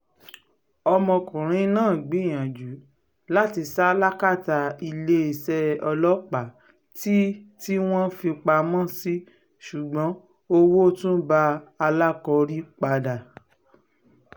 ọmọkùnrin náà gbìyànjú láti sá làkàtà iléeṣẹ́ ọlọ́pàá tí tí wọ́n fi í pamọ́ sí ṣùgbọ́n owó tún bá alákọ̀rí padà